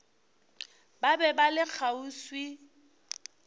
ba be ba le kgauswi